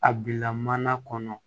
A bila mana kɔnɔ